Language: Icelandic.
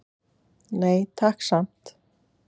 Nei, takk samt!